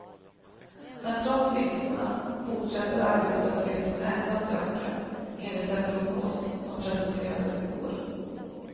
Men trots vinsterna fortsätter arbetslösheten ändå att öka, enligt en prognos som presenterades i går.